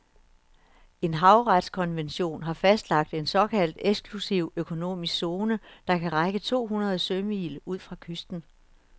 En havretskonvention har fastlagt en såkaldt eksklusiv økonomisk zone, der kan række to hundrede sømil ud fra kysten.